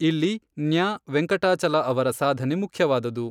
ಇಲ್ಲಿ ನ್ಯಾ ವೆಂಕಟಾಚಲ ಅವರ ಸಾಧನೆ ಮುಖ್ಯವಾದದು.